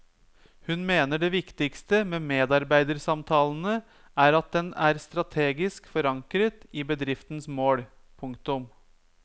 Hun mener det viktigste med medarbeidersamtalene er at den er strategisk forankret i bedriftens mål. punktum